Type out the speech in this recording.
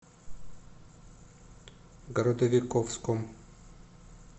городовиковском